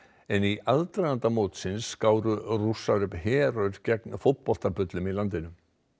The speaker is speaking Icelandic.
en í aðdraganda mótsins skáru Rússar upp herör gegn fótboltabullum í landinu